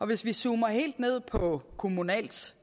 hvis vi zoomer helt ned på kommunalt